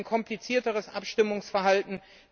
Es gibt ein komplizierteres Abstimmungsverhalten